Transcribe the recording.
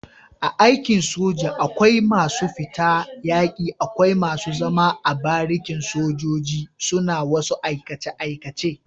A aikin soja akwai masu fita yaki akwai masu zama a barikin sojoji suna wasu aikace aikace